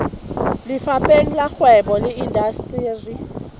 lefapheng la kgwebo le indasteri